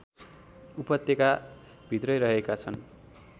उपत्यका भित्रै रहेका छन्